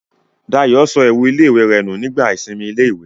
Dayọ̀ sọ ẹ̀wù ilé-ìwé rẹ̀ nù nígbà ìsinmi ilé-ìwé